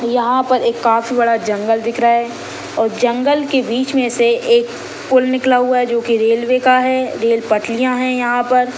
यहाँ पर एक काफी बड़ा जंगल दिख रहा है अउ जंगल के बीच मे से एक पुल निकला हुआ है जो रेलवे का है रेल पटरिया है यहाँ पर--